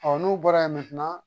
n'u bɔra ye